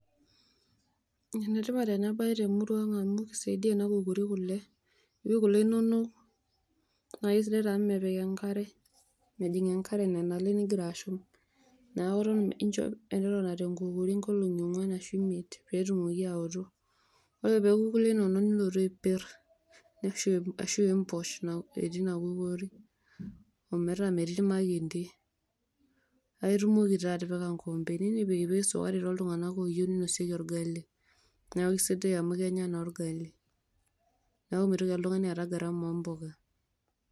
Enetipat ena baye temurua ang' amu keisaidia ena pukuri kule. Ipik kule inono , nake sidai taamu mepik enkare, mejing' enkare nenale nigira ashum. Neaku inchoo metotona te nkukuri nkolong'i ong'uan ashu imiet peetumoki aoto. Ore peoku kule inono nilotu aipirr ashu imposh etii ina kukuri ometaa metii ilmakendi, paitumoki taa atipika nkoompeni nipikpik  sukari toltungana oyou neinosieki orgali neaku sidai amu kenya naa  orgali neaku meitoki oltung'ani aata garama oo mboka.